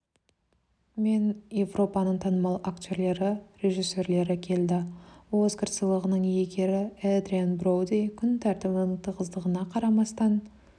мен еуропаның танымал актерлері режиссерлері келді оскар сыйлығының иегері эдриан броуди күн тәртібінің тығыздығына қарамастан